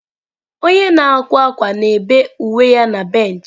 Onye na-akwa akwa na-bee uwe ya na bench.